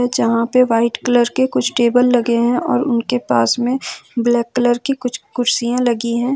जहां पे white colour के कुछ टेबल लगे हैं और उनके पास में ब्लैक कलर की कुछ कुर्सियां लगी है।